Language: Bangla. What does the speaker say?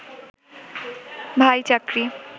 ভাই, চাকরি